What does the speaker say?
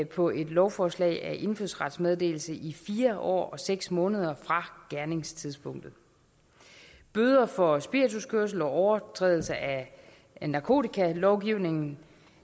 på et lovforslag om indfødsrets meddelelse i fire år og seks måneder fra gerningstidspunktet bøder for spirituskørsel og overtrædelse af narkotikalovgivningen